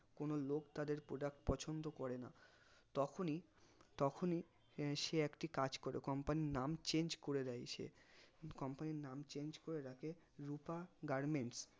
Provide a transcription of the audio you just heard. কোনো লোক তাদের product পছন্দ করে না তখনই তখনই সে একটি কাজ করে company র নাম change করে দেয় সে company র নাম change করে রাখে রুপা garments